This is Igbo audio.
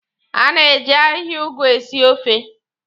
A na-eji ahịhịa ụgụ esi ofe.